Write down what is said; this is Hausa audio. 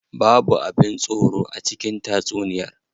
Babu abin tsoro a cikin tatsuniyar.